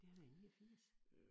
Det har været i 89